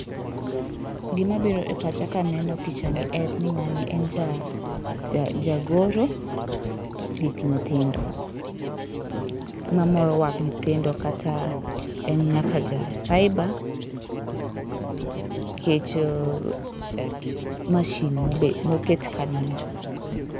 Gima biro e pacha kaneno picha ni en ni ng'ani en jagoro gik nyithindo. Gik mamoro wang' nyithindo, kata en nyaka ja cyber nikech machine moket kanyo no.